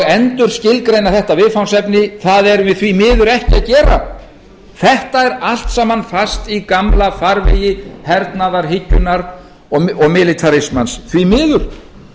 endurskilgreina þetta viðfangsefni það erum við því miður ekki að gera þetta er allt saman fast í gamla farvegi hernaðarhyggjunnar og militarismans því miður